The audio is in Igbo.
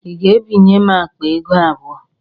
Ị ga-ebinye m akpa ego abụọ?